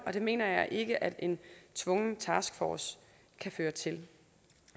og det mener jeg ikke at en tvungen taskforce kan føre til